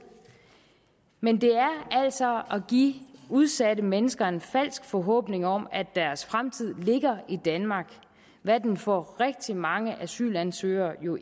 men det er altså at give udsatte mennesker en falsk forhåbning om at deres fremtid ligger i danmark hvad den for rigtig mange asylansøgere jo